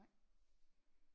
Nej